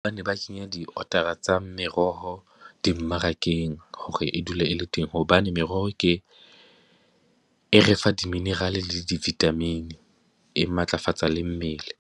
Ba ne ba tsenya di-order-a tsa meroho dimmarakeng hore e dule e le teng, hobane meroho ke e re fa di-mineral le di-vitamin, e matlafatsa le mmele.